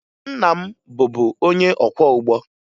Nna m bụbu onye ọkwọụgbọ